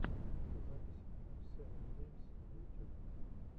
запись эм эм севен геймс на ютюбе